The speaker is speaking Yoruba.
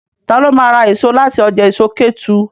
Ta ló ma ra èso láti ọjà èso Kétu?